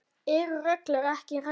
Eru reglur ekki reglur?